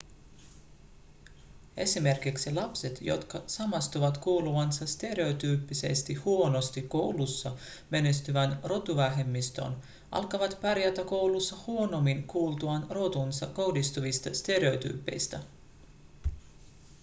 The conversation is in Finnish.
esimerkiksi lapset jotka samastuvat kuuluvansa stereotyyppisesti huonosti koulussa menestyvään rotuvähemmistöön alkavat pärjätä koulussa huonommin kuultuaan rotuunsa kohdistuvista stereotyypeistä